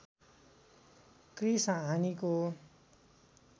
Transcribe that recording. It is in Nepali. क्रिस हानिको